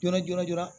Jɔɔrɔ jɔra joona